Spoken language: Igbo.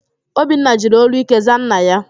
Obinna jiri ólú íké zaa nna ya.